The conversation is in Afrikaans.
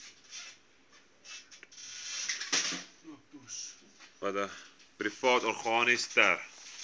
private organisasies ter